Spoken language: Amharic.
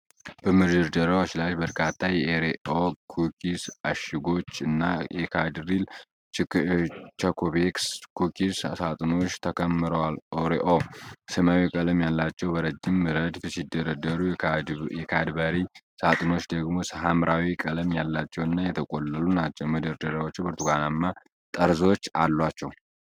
በመደርደሪያዎች ላይ በርካታ የኦሬኦ ኩኪስ እሽጎች እና የካድበሪ ቾኮቤክስ ኩኪስ ሳጥኖች ተከምረዋል። ኦሬኦ ሰማያዊ ቀለም ያላቸው በረጅም ረድፍ ሲደረደሩ፣ የካድበሪ ሳጥኖች ደግሞ ሐምራዊ ቀለም ያላቸውና የተቆለሉ ናቸው። መደርደሪያዎቹ ብርቱካናማ ጠርዞች አላቸው።